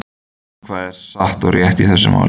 Hvað er satt og rétt í þessu máli?